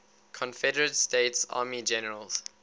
confederate states army generals